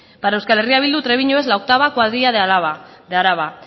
para euskal herria bildu trebiñu es la octava cuadrilla de araba